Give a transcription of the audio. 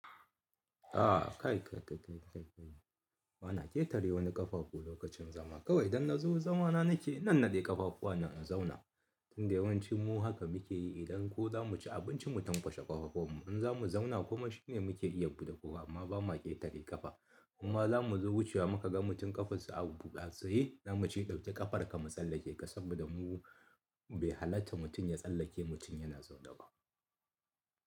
A kai kai kai kai bana ƙetare wani ƙafafu lokacin zama. Kawai idan na zo zamana nake, na nannaɗe ƙafafuwana in zauna. Tunda yawancin mu haka muke yi idan ko zamu ci abinci mu tanƙwashe ƙafafun mu, in zamu zauna kuma shine muke iya buɗe kofa amma ba ma ƙetare ƙafa. Kuma zamu zo wucewa muka ga mutum ƙafarsa a buɗe, a tsaye, zamu ce dauƙe ƙafarka mu tsallake ka saboda mu bai halatta mutum ya tsallake mutum yana zaune ba.